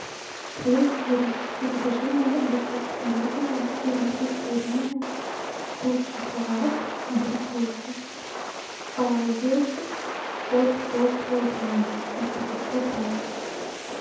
привет сири закажи мне доставку мороженого фирмы чистая линия вкус шоколад в брикете вес от полкилограмма от пятиста грамм